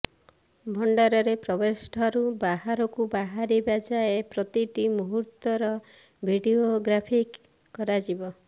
ଭଣ୍ଡାରରେ ପ୍ରବେଶ ଠାରୁ ବାହାରକୁ ବାହାରିବା ଯାଏ ପ୍ରତିଟି ମୁହୂର୍ତ୍ତର ଭିଡିଓଗ୍ରାଫି କରାଯିବ